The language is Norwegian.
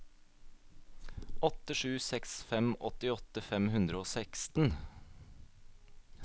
åtte sju seks fem åttiåtte fem hundre og seksten